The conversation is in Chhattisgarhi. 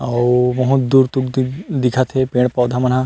आऊ बहुत दूर-दूर दिखत हे पेड़-पौधा मनहा--